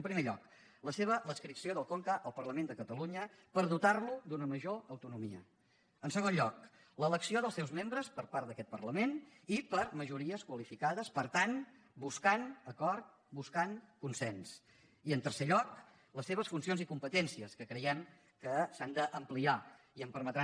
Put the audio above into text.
en primer lloc l’adscripció del conca al parlament de catalunya per dotar lo d’una major autonomia en segon lloc l’elecció dels seus membres per part d’aquest parlament i per majories qualificades per tant buscant acord buscant consens i en tercer lloc les seves funcions i competències que creiem que s’han d’ampliar i em permetrà